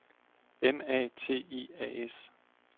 M A T I A S